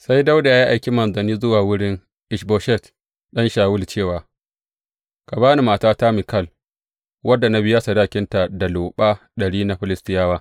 Sai Dawuda ya aiki manzanni zuwa wurin Ish Boshet ɗan Shawulu cewa, Ka ba ni matata Mikal wadda na biya sadakinta da loɓa ɗari na Filistiyawa.